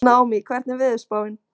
Naómí, hvernig er veðurspáin?